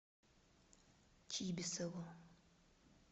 чибисову